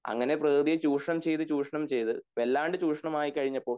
അങ്ങനെ പ്രകൃതിയെ ചുഷണം ചെയ്തത് ചുഷണം ചെയ്തത് വല്ലാണ്ട് ചുഷണം ആയിക്കഴിഞ്ഞപ്പോഴ്